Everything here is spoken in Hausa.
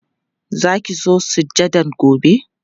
Za ki zo sujadan gobe?